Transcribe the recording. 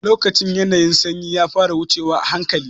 Lokacin ƴanayin sanyi ya fara wucewa ahanƙali.